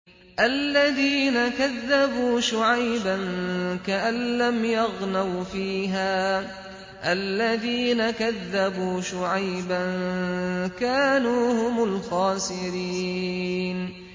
الَّذِينَ كَذَّبُوا شُعَيْبًا كَأَن لَّمْ يَغْنَوْا فِيهَا ۚ الَّذِينَ كَذَّبُوا شُعَيْبًا كَانُوا هُمُ الْخَاسِرِينَ